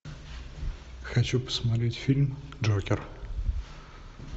хочу посмотреть фильм джокер